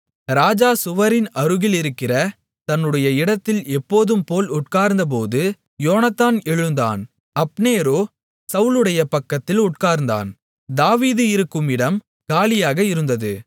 ராஜா சுவரின் அருகிலிருக்கிற தன்னுடைய இடத்தில் எப்போதும்போல் உட்கார்ந்தபோது யோனத்தான் எழுந்தான் அப்னேரோ சவுலுடைய பக்கத்தில் உட்கார்ந்தான் தாவீது இருக்கும் இடம் காலியாக இருந்தது